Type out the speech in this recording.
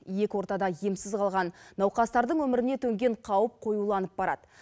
екі ортада емсіз қалған науқастардың өміріне төнген қауіп қоюланып барады